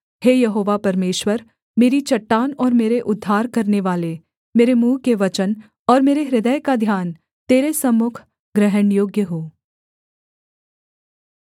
हे यहोवा परमेश्वर मेरी चट्टान और मेरे उद्धार करनेवाले मेरे मुँह के वचन और मेरे हृदय का ध्यान तेरे सम्मुख ग्रहणयोग्य हों